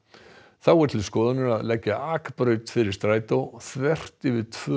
þá er til skoðunar að leggja akbraut fyrir strætó þvert yfir tvö